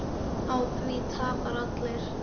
Á því tapa allir.